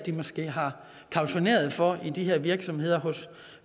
måske har kautioneret for i de her virksomheder hos